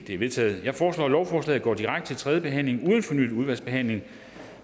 er vedtaget jeg foreslår at lovforslaget går direkte til tredje behandling uden fornyet udvalgsbehandling